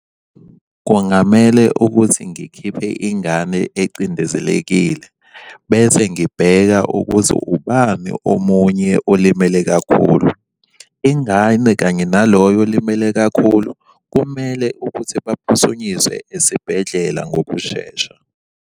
Kungamele ukuthi ngikhiphe ingane ecindezelekile bese ngibheka ukuthi ubani omunye olimele kakhulu. Ingane kanye naloyo olimele kakhulu kumele ukuthi baphuthunyiswe esibhedlela ngokushesha.